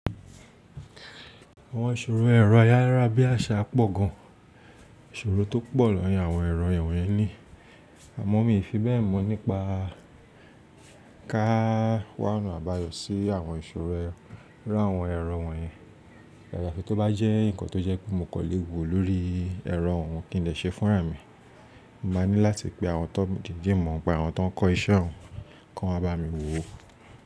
Àwọn ìṣòro ẹ̀rọ yára bí àṣá pọ̀ gan. Ìṣòro tó pọ̀ lọ ní àwọn ẹ̀rọ ẹ̀wọ̀n yẹn ni. Àmọ́ mi fi bẹ́ẹ̀ mọ̀ nípa ká wá nu àbáyọ sí àwọn ìṣòro iru awon ẹ̀rọ wọ̀nyẹn. Yafi fi tó bá jẹ́ nǹkan tó jẹ́ pé mo kọ́lé wo lórí ẹ̀rọ ọ̀hún, kí n lè ṣe fúnra mi. Mo máa ní láti pe àwọn tó didi mọ̀ ọ́n pa àwọn tó ń kọ́ iṣẹ́ ọ̀hún kan wá bá mi wò ó.